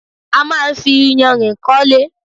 A máa ń fi iyanrìn kọ́lé.